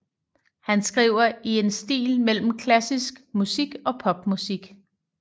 Han skriver i en stil mellem klassisk musik og pop musik